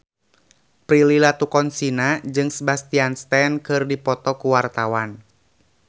Prilly Latuconsina jeung Sebastian Stan keur dipoto ku wartawan